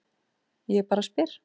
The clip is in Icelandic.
Ég bara spyr.